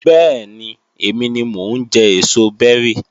Bẹ́ẹ̀ni, èmi ni mo ń jẹ èso bẹ́rì